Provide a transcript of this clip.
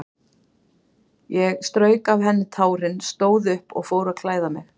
Ég strauk af henni tárin, stóð upp og fór að klæða mig.